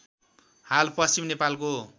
हाल पश्चिम नेपालको